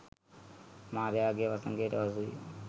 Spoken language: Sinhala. මාරයාගේ වසඟයට හසුවිය